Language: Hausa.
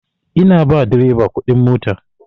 Ina ba direba kuɗin mota.